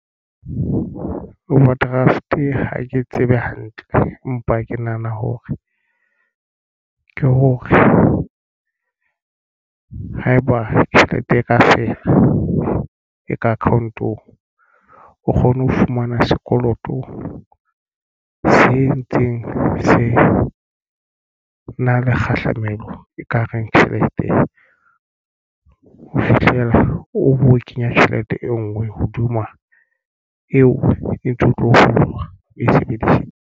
Overdraft ha ke tsebe hantle empa ke nahana hore ke hore ha eba tjhelete e ka fela e ka account-ong o kgone ho fumana sekoloto se entseng se na le kgahlamelo e kareng tjhelete ho fihlela o mo kenya tjhelete e nngwe hodima eo o ntso o tlo dula e sebedisang.